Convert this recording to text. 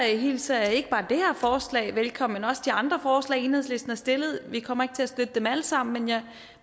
hilser jeg ikke bare det her forslag velkommen men også de andre forslag som enhedslisten har stillet vi kommer ikke til at støtte dem alle sammen